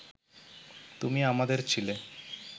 তুমি আমাদের ছিলে